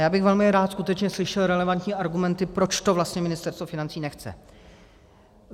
Já bych velmi rád skutečně slyšel relevantní argumenty, proč to vlastně Ministerstvo financí nechce.